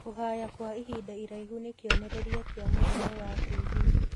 Kũhaya kwa ihinda iraihu nĩ kĩonererĩa kĩa mũrimũ wa TB